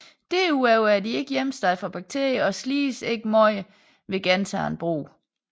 Derudover er de ikke hjemsted for bakterier og slides ikke meget ved gentagen brug